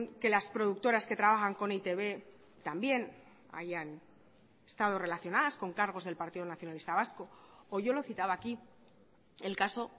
que las productoras que trabajan con e i te be también hayan estado relacionadas con cargos del partido nacionalista vasco o yo lo citaba aquí el caso